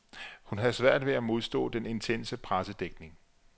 Hun havde svært ved at modstå den intense pressedækning.